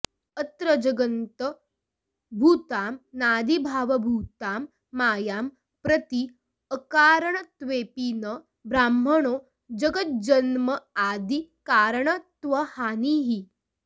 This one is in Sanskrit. अत्र जगदन्तर्भूतामनादिभावभूतां मायां प्रति अकारणत्वेपि न ब्रह्मणो जगज्जन्मादि कारणत्वहानिः